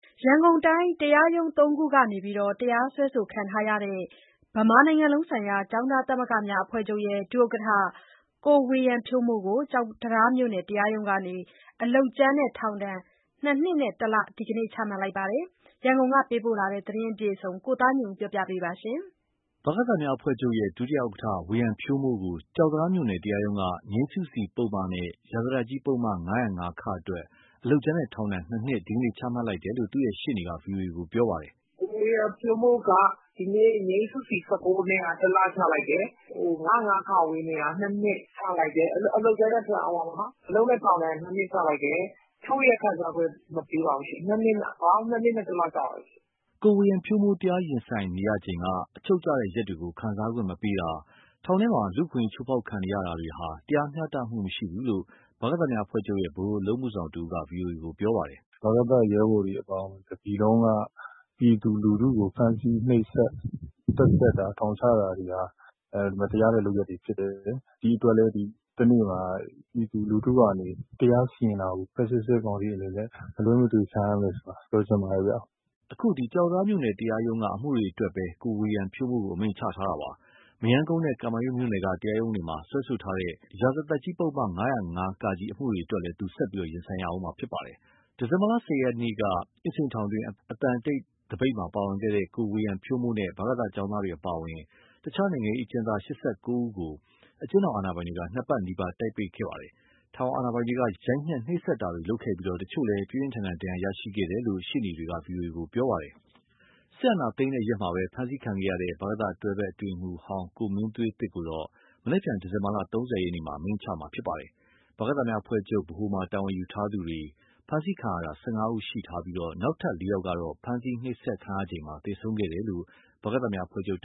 ရန်ကုန်တိုင်း တရားရုံးသုံးခုကနေ တရားစွဲဆိုခံထားရတဲ့ ဗမာနိုင်ငံလုံးဆိုင်ရာ ကျောင်းသားသမဂ္ဂများအဖွဲ့ချုပ်ရဲ့ ဒု-ဥက္ကဋ္ဌ ဝေယံဖြိုးမိုးကို ကျောက်တံတားမြို့ နယ်တရားရုံးက အလုပ်ကြမ်းနဲ့ထောင်ဒဏ် နှစ်နှစ်နဲ့တလ ဒီနေ့ချမှတ်လိုက်ပါတယ်။ ရန်ကုန်ကပေးပို့တဲ့ ဒီသတင်းကို ကိုသားညွန့်ဦးက တင်ပြပေးထားပါတယ်။ ဗကသများအဖွဲ့ချုပ်ရဲ့ ဒု-ဥက္ကဋ္ဌ ဝေယံဖြိုးမိုးကို ကျောက်တံတားမြို့နယ် တရားရုံးက ငြိမ်းစုစီပုဒ်မနဲ့ ရာဇသတ်ကြီးပုဒ်မ ၅၀၅ အတွက် အလုပ်ကြမ်းနဲ့ ထောင်ဒဏ်၂ နှစ် ဒီနေ့ချမှတ်လိုက်တယ်လို့ သူ့ရဲ့ရှေ့နေက ဗွီအိုအေကို ပြောပါတယ်။ “ကိုဝေယံဖြိုးမိုးက ဒီနေ့ ငြိမ်းစုစီ ၁၉ နဲ့က တလချလိုက်တယ်၊ ၅၀၅ နဲ့က ၂ နှစ်ချလိုက်တယ်၊ အလုပ်နဲ့ထောင်ဒဏ် ၂ နှစ်ချလိုက်တယ်၊ ချုပ်ရက်ခံစားခွင့် မပေးပါဘူးရှင့်၊ ပေါင်း ၂ နှစ်နဲ့ ၁လ ကျပါတယ်။” ကိုဝေယံဖြိုးမိုး တရားရင်ဆိုင်နေရချိန်က အချုပ်ကျတဲ့ရက်တွေကို ခံစားခွင့်မပေးတာ၊ ထောင်တွင်းမှာ လူ့အခွင့်အရေး ချိုးဖောက်ခံနေရတာတွေဟာ တရားမျှတမှုမရှိဘူးလို့ ဗကသများအဖွဲ့ချုပ်ရဲ့ ဗဟိုအလုပ်အမှုဆောင်တဦးက ဗွီအိုအေကို ပြောပါတယ်။ “ဗကသရဲဘော်တွေအပါအဝင် တပြည်လုံးက ပြည်သူလူထုဖမ်းဆီးနှိပ်စက်တာ၊ သတ်ဖြတ်တာ ထောင်ချတာတွေဟာ မတရားတဲ့ လုပ်ရပ်တွေဖြစ်တယ်။ ဒီအတွက်လည်း တနေ့မှာ ပြည်သူလူထုကနေ တရားစီရင်တာကို ဖက်ဆစ်စစ်ကောင်စီအနေနဲ့ မလွှဲမသွေ ခံရမယ်ဆိုတာ ပြောချင်ပါတယ်။” အခုက ကျောက်တံတားမြို့နယ် တရားရုံးက အမှုတွေအတွက်ပဲ ကိုဝေယံဖြိုးမိုးကို အမိန့်ချခဲ့တာပါ။ မရမ်းကုန်းနဲ့ ကမာရွတ်မြို့နယ်က တရားရုံးတွေမှာ စွဲဆိုထားတဲ့ရာဇသတ်ကြီးပုဒ်မ ၅၀၅ အမှုတွေအတွက်လည်း သူကဆက်ပြီး ရင်ဆိုင်ရဦးမှာပါ။ ဒီဇင်ဘာ ၁၀ ရက်က အင်းစိန်ထောင်တွင်း အသံတိတ်သပိတ်မှာ ပါဝင်ခဲ့တဲ့ ကိုဝေယံဖြိုးမိုးနဲ့ ဗကသကျောင်းသားတွေအပါအဝင် တခြားနိုင်ငံရေးအကျဉ်းသား ၈၉ ယောက်ကို အကျဉ်းထောင်အာဏာပိုင်တွေက ၂ ပတ်နီးပါး တိုက်ပိတ်ခဲ့ပါတယ်။ ထောင်အာဏာပိုင်တွေက ရိုက်နှက်နှိပ်စက်တာတွေလုပ်ခဲ့ပြီး တချို့လည်း ပြင်းပြင်းထန်ထန် ဒဏ်ရာရရှိခဲ့တယ်လို့ ရှေ့နေတချို့က ဗွီအိုအေကို ပြောပါတယ်။ စစ်အာဏာသိမ်းတဲ့ရက်မှာပဲ ဖမ်းဆီးခံခဲ့ရတဲ့ ဗကသ တွဲဖက်အတွင်းရေးမှူးဟောင်း ကိုမင်းသွေးသစ်ကိုတော့ မနက်ဖြန် ဒီဇင်ဘာ ၃၀ ရက်မှာ အမိန့်ချမှာ ဖြစ်ပါတယ်။ ဗကသများအဖွဲ့ချုပ်ဗဟိုမှာ တာဝန်ယူထားသူတွေ ဖမ်းဆီးခံရတာ ၁၅ ယောက်ရှိပြီး နောက်ထပ် ၄ ယောက်ကတော့ ဖမ်းဆီး၊ နှိပ်စက်ခံရချိန်မှာ သေဆုံးခဲ့တယ်လို့ ဗကသများအဖွဲ့ချုပ် တ